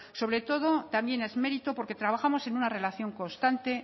sobre todo también es mérito porque trabajamos en una relación constante